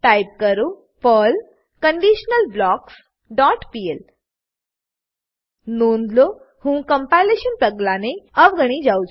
type કરો Perl conditional blocks dot PL નોંધ લો હું કમ્પાઈલેશન પગલાને અવગણી જાવ છું